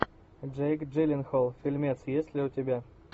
джейк джилленхол фильмец есть ли у тебя